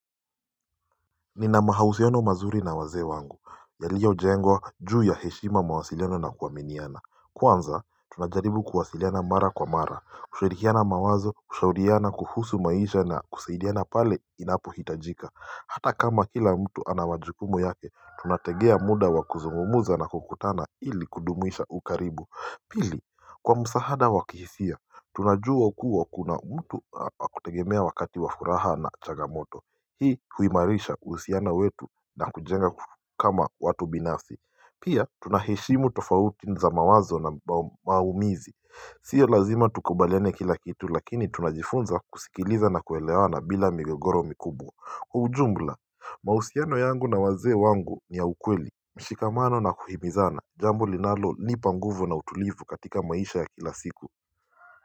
Nina mahusiano mazuri na wazee wangu yaliyo jengwa juu ya heshima mawasiliano na kuaminiana Kwanza tunajaribu kuwasiliana mara kwa mara kushirikiana mawazo kushauriana kuhusu maisha na kusaidiana pale inapo hitajika Hata kama kila mtu ana wajukumu yake tunategea muda wa kuzungumza na kukutana ili kudumisha ukaribu Pili kwa msaada wa kihisia tunajua kuwa kuna mtu wakutegemea wakati wa furaha na changamoto Hii huimarisha kuhusiana wetu na kujenga kama watu binafsi Pia tunaheshimu tofauti za mawazo na maumizi Sio lazima tukubaliane kila kitu lakini tunajifunza kusikiliza na kuelewana bila migogoro mikubwa ujumla mahusiano yangu na wazee wangu ni ya ukweli mshikamano na kuhimizana jambo linalo nipa nguvu na utulivu katika maisha ya kila siku.